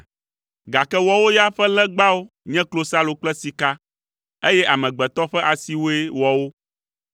gake woawo ya ƒe legbawo nye klosalo kple sika, eye amegbetɔ ƒe asiwoe wɔ wo,